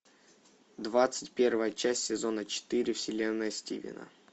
двадцать первая часть сезона четыре вселенная стивена